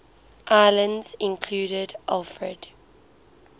islands included alfred